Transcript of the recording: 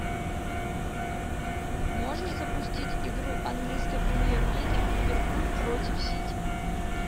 можешь запустить игру английской премьер лиги ливерпуль против сити